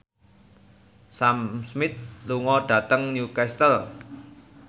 Sam Smith lunga dhateng Newcastle